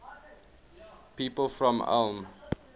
people from ulm